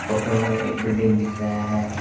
Photo में एक building दिख रहा है।